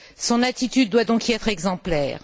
Son attitude doit donc y être exemplaire.